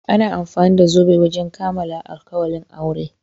Ana amfani da zobe wajen kamalan alkawalin aure.